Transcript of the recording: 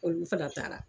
Olu fana taara